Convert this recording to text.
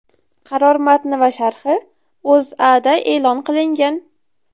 Qaror matni va sharhi O‘zAda e’lon qilingan .